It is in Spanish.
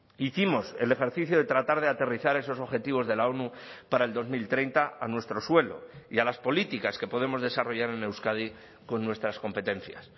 hicimos el ejercicio de tratar de aterrizar esos objetivos de la onu para el dos mil treinta a nuestro suelo y a las políticas que podemos desarrollar en euskadi con nuestras competencias